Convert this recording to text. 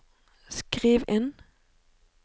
skriv inn